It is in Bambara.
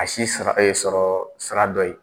A si sara sɔrɔ sira dɔ ye.